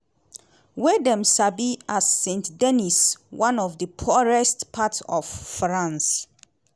wey dem sabi as seine-saint-denis - one of di poorest parts of france.